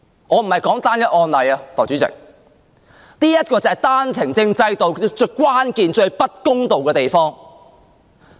我不是說單一案例，代理主席，這便是單程證制度最關鍵和最不公道的地方。